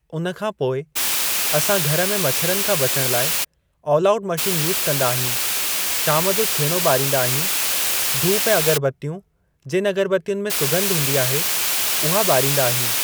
उन खां पोइ असां घर में मछरनि खां बचण लाइ ऑल आउट मशीन यूज़ कंदा आहियूं शाम जो छेणो ॿारींदा आहियूं धूप ऐं अगरबत्तियूं जिनि अगरबत्तियुनि में सुॻंध हूंदी आहे, उहा ॿारींदा आहियूं।